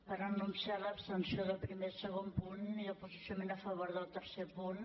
per anunciar l’abstenció als primer i segon punts i el posicionament a favor del tercer punt